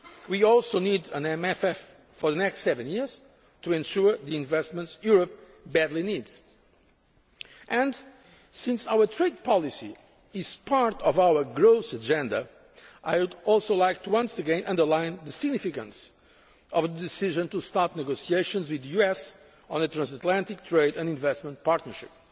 We also need an MFF for the next seven years, to ensure the investments Europe badly needs and, since our trade policy is part of our growth agenda, I would also like to once again underline the significance of the decision to start negotiations with the US on a Transatlantic Trade and Investment Partnership.